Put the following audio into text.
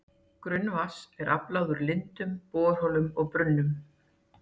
Grunnvatns er aflað úr lindum, borholum og brunnum.